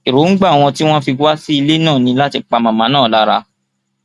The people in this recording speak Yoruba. èròǹgbà wọn tí wọn fi wá sí ilé náà ní láti pa màmá náà lára